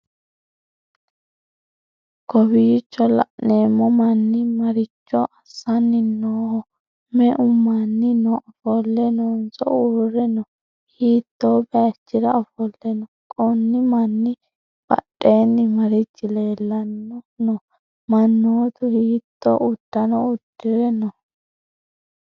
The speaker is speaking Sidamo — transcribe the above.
kowiicho la'neemmo manni maricho assanni nooho? me'u manni no? ofolle noonso uurre no?hiitto bayichira ofolle no?konni manni badheenni marichi leellanni no?mannootu hiitto uddano uddi're no?